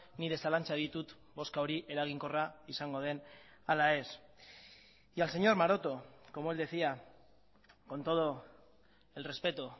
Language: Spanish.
nire zalantzak ditut bozka hori eraginkorra izango den ala ez y al señor maroto como él decía con todo el respeto